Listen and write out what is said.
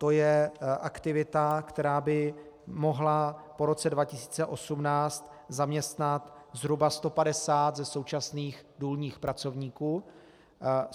To je aktivita, která by mohla po roce 2018 zaměstnat zhruba 150 ze současných důlních pracovníků.